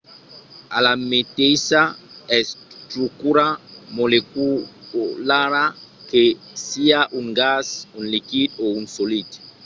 a la meteissa estrucura moleculara que siá un gas un liquid o un solid